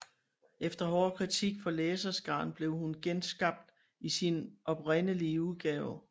Efter hård kritik fra læserskaren blev hun genskabt i sin oprindelige udgave